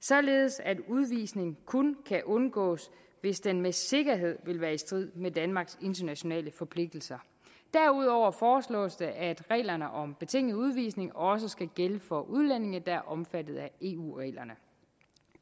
således at udvisning kun kan undgås hvis den med sikkerhed vil være i strid med danmarks internationale forpligtelser derudover foreslås det at reglerne om betinget udvisning også skal gælde for udlændinge der er omfattet af eu reglerne